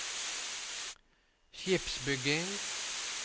skipsbygging